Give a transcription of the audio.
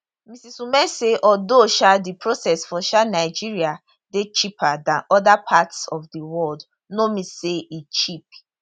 mrs umeh say although um di process for um nigeria dey cheaper dan oda parts of di world no mean say e cheap